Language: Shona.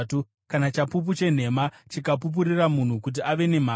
Kana chapupu chenhema chikapupurira munhu kuti ane mhaka,